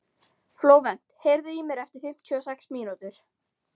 Flóvent, heyrðu í mér eftir fimmtíu og sex mínútur.